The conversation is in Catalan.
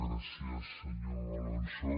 gràcies senyor alonso